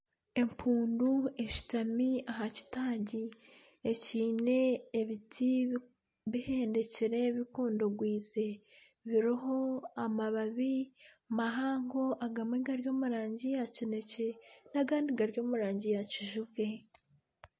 Empundu eshutami aha kitagi ekyine ebiti biheendekire bikondogwize biriho amababi mahango agamwe gari omu rangi ya kinekye n'agandi gari omu rangi ya kijubwe.